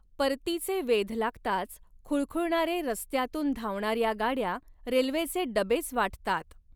परतीचे वेध लागताच खुळखुळणारे रस्त्यातून धावणाऱ्या गाड्या रेल्वेचे डबेच वाटतात.